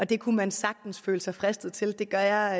det kunne man sagtens føle sig fristet til det gør jeg